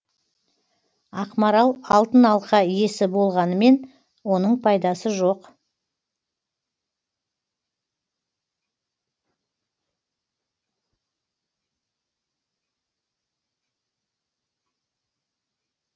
ақмарал алтын алқа иесі болғанымен оның пайдасы жоқ